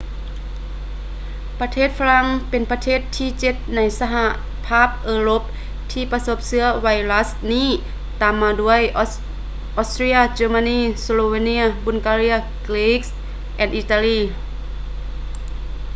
ປະເທດຝຣັ່ງແມ່ນປະເທດທີເຈັດໃນສະຫະພາບເອີຣົບທີ່ປະສົບເຊື້ອໄວຣັສນີ້ ຕາມມາດ້ວຍ austria germany slovenia bulgaria greece ແລະ italy